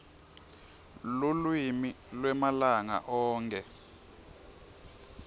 lulwimi lwemalanga onkhe